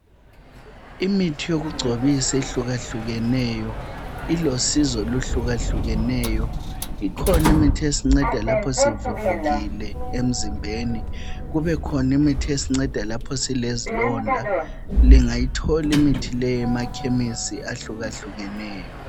Imithi yokugcobisa ehlukahlukeneyo ilosizo okuhlukahlukeneyo ikhona imithi esinceda lapho sivuvukile emzimbeni kube khona imithi esinceda lapho zilezilonda lingayithola imithi le ema chemis ahlukahlukeneyo.